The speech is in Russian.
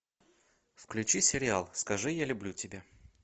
включи сериал скажи я люблю тебя